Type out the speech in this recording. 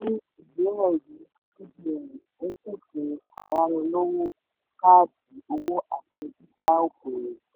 ìwé-ẹ̀rí cbn ń pèsè ayánilówó káàdì owó àti dída okoòwò.